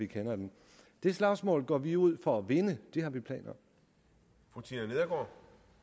kender den det slagsmål går vi ud for at vinde det har vi planer om